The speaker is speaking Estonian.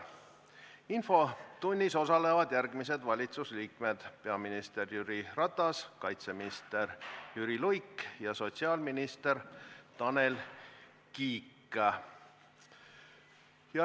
Infotunnis osalevad järgmised valitsusliikmed: peaminister Jüri Ratas, kaitseminister Jüri Luik ja sotsiaalminister Tanel Kiik.